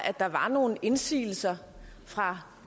der var nogle indsigelser fra